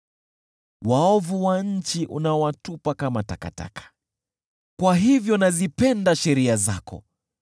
Waovu wa nchi unawatupa kama takataka, kwa hivyo nazipenda sheria zako.